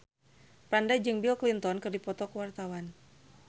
Franda jeung Bill Clinton keur dipoto ku wartawan